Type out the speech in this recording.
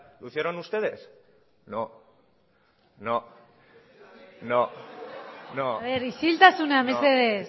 lo hicieron ustedes no isiltasuna mesedez